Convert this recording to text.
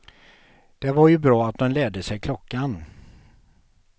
Det var ju bra att dom lärde sig klockan.